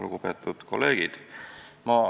Lugupeetud kolleegid!